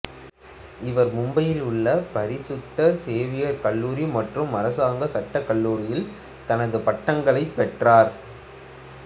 இவர் மும்பையில் உள்ள பரிசுத்த சேவியர் கல்லூரி மற்றும் அரசாங்க சட்டக் கல்லூரியில் தனது பட்டங்களைப் பெற்றார்